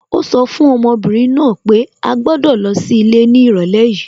Ó sọ fún ọmọbìnrin náà pé à gbọ́dọ̀ lọ sí ilé ní ìrọ̀lẹ́ yìí